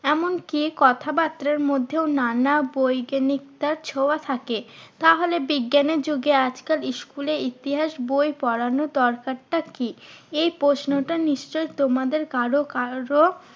এমন কি কথাবার্তার মধ্যেও নানা বৈজ্ঞানিকতার ছোঁয়া থাকে। তাহলে বিজ্ঞানের যুগে আজকাল school এ ইতিহাস বই পড়ানোর দরকারটা কি? এই প্রশ্নটা নিশ্চই তোমাদের কারো কারো